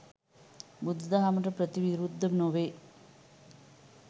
බුදුදහමට ප්‍රතිවිරුද්ධ නොවේ.